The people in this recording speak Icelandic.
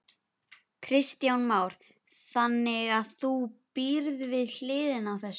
Kristján Már: Þannig að þú býrð við hliðina á þessu?